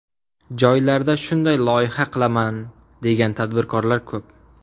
Joylarda shunday loyiha qilaman, degan tadbirkorlar ko‘p.